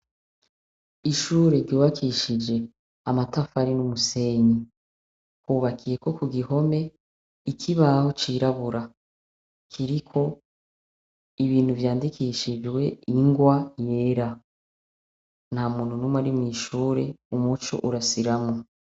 Ishure ryubakishije amatafari n'umusenyi. Hubakiyeko ku gihome ikibaho cirabura, kiriko ibintu vyandikishijwe ingwa yera. Nta muntu n'umwe ari mw'ishure, umuco urasiramwo.